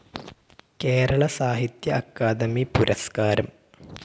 കേരള സാഹിത്യ അക്കാദമി പുരസ്‌കാരം